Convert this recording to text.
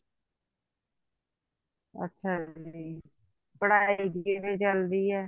ਅੱਛਾ ਜੀ ਪੜ੍ਹਾਈ ਕਿਵੇਂ ਚੱਲਦੀ ਆ